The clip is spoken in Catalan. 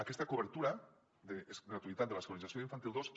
aquesta cobertura gratuïtat de l’escolarització d’infantil dos